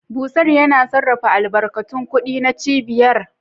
Bursar: Yana sarrafa albarkatun kuɗi na cibiyar.